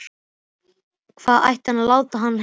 Hvað ætti hann að láta hann heita?